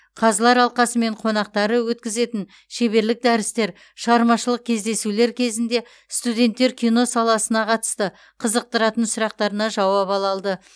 қазылар алқасы мен қонақтары өткізетін шеберлік дәрістер шығармашылық кездесулер кезінде студенттер кино саласына қатысты қызықтыратын сұрақтарына жауап ала алды